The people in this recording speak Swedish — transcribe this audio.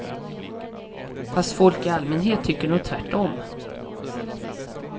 Fast folk i allmänhet tycker nog tvärtom.